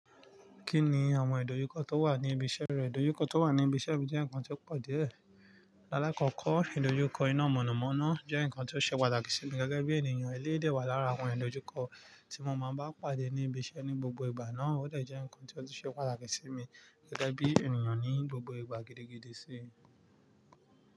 Kí ni àwọn ìdojúkọ tó wà ní ibi iṣẹ́ rẹ? Ìdojúkọ tó wà ní ibi iṣẹ́ mi jẹ́ nǹkan tí ó pọ̀ díẹ̀. Láàkọ́kọ́, ìdojúkọ iná mọ̀nàmọ́ná jẹ́ nǹkan tí ó ṣe pàtàkì sí mi gẹ́gẹ́ bí ènìyàn. Eléyìí dẹ̀ wà lára àwọn ìdojúkọ tí mo máa ń bá pàdé ní ibi iṣẹ́ ní gbogbo ìgbà náà. Ó dẹ̀ jẹ́ nǹkan tí ó ṣe pàtàkì sí mi gẹ́gẹ́ bí ènìyàn ní gbogbo ìgbà gidi gidí sí.